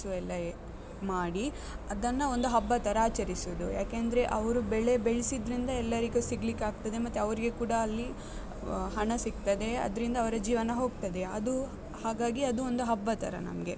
ಎಲ್ಲ ಮಾಡಿ, ಅದನ್ನ ಒಂದು ಹಬ್ಬ ತರ ಆಚರಿಸುದು. ಯಾಕೆಂದ್ರೆ, ಅವ್ರು ಬೆಳೆ ಬೆಳ್ಸಿದ್ರಿಂದ ಎಲ್ಲರಿಗು ಸಿಗ್ಲಿಕ್ಕ್ ಆಗ್ತದೆ ಮತ್ತೆ ಅವರಿಗೆ ಕೂಡ ಅಲ್ಲಿ ಹಣ ಸಿಗ್ತದೆ, ಅದ್ರಿಂದ ಅವ್ರ ಜೀವನ ಹೋಗ್ತದೆ. ಅದು ಹಾಗಾಗಿ ಅದು ಒಂದು ಹಬ್ಬತರ ನಮ್ಗೆ.